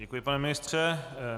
Děkuji, pane ministře.